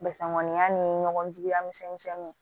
Basisan mɔgɔninya ni ɲɔgɔn juguya misɛn misɛnninw